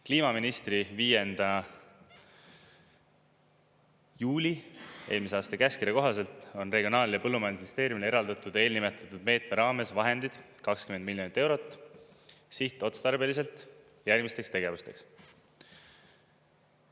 Kliimaministri 5. juuli eelmise aasta käskkirja kohaselt on Regionaal- ja Põllumajandusministeeriumile eraldatud eelnimetatud meetme raames vahendid 20 miljonit eurot sihtotstarbeliselt järgmisteks tegevusteks.